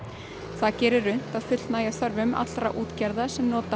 það gerir unnt að fullnægja þörfum allra útgerða sem nota